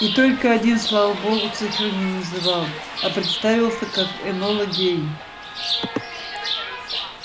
и только один слава богу цифры не называл а представился как энола гей